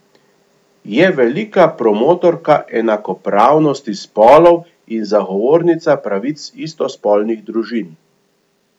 Je velika promotorka enakopravnosti spolov in zagovornica pravic istospolnih družin.